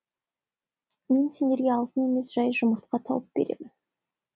мен сендерге алтын емес жай жұмыртқа тауып беремін